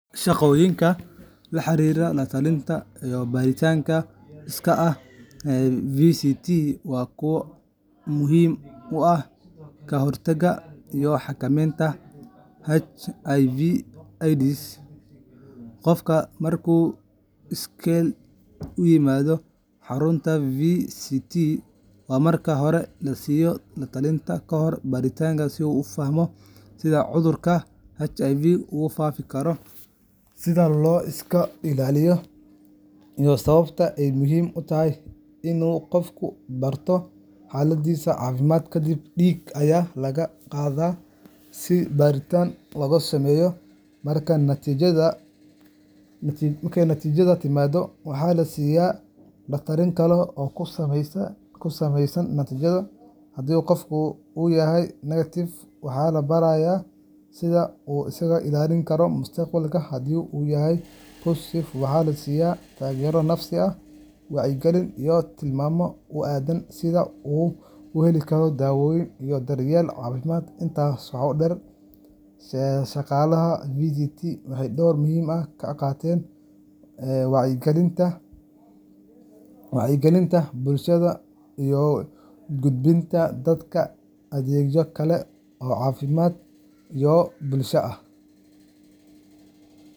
Shaqooyinka la xiriira la-talinta iyo baaritaanka iskaa ah ee VCT waa kuwo muhiim u ah ka hortagga iyo xakamaynta HIV/AIDSka. Qofka marka uu iskeel u yimaado xarunta VCTiga, waxaa marka hore la siiyaa la-talin kahor baaritaanka si uu u fahmo sida cudurka HIVga u faafi karo, sida loo iska ilaaliyo, iyo sababta ay muhiim u tahay in qofku barto xaaladdiisa caafimaad. Kadibna, dhiig ayaa laga qaadaa si baaritaan loogu sameeyo. Marka natiijada timaaddo, waxaa la siiyaa la-talin kale oo ku saleysan natiijada. Haddii qofku uu yahay negative, waxaa la barayaa sida uu isaga ilaalin karo mustaqbalka, haddii uu yahay positive, waxaa la siinayaa taageero nafsi ah, wacyigelin, iyo tilmaamo ku aaddan sida uu u heli karo daaweynta iyo daryeelka caafimaad. Intaas waxaa dheer, shaqaalaha VCTiga waxay door muhiim ah ka qaataan wacyigelinta bulshada iyo gudbinta dadka adeegyo kale oo caafimaad iyo bulsho ah.